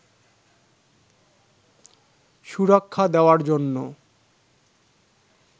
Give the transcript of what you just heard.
সুরক্ষা দেওয়ার জন্য